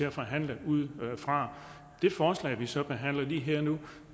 at forhandle ud fra det forslag vi så behandler lige her og nu